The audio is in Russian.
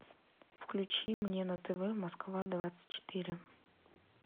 включи мне на тв москва двадцать четыре